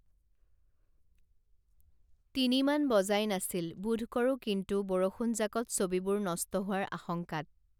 তিনিমান বজাই নাছিল বোধকৰো কিন্তু বৰষুণজাকত ছবিবোৰ নষ্ট হোৱাৰ আশংকাত